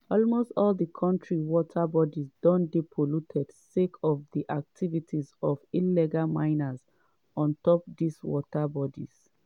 almost all di kontri water bodies don dey polluted sake of di activities of illegal miners on top dis water bodies.